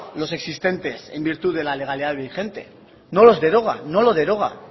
los existentes en virtud de la legalidad vigente no los deroga no lo deroga